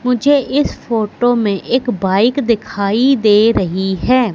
मुझे इस फोटो में एक बाइक दिखाई दे रही है।